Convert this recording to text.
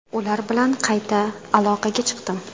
Ular bilan qayta aloqaga chiqdim.